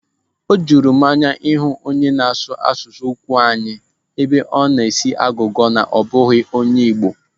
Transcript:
Ọ juru m anya ịhụ onye na-asụ asụsụ Ụkwụani ebe ọ na-esi agụgọ na ọ bụghị onye Igbo.